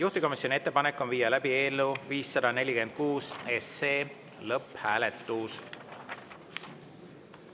Juhtivkomisjoni ettepanek on viia läbi eelnõu 546 lõpphääletus.